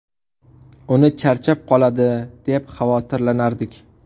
Uni charchab qoladi, deb xavotirlanardik.